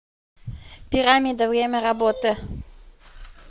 пирамида время работы